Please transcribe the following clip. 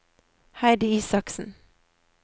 Heidi Isaksen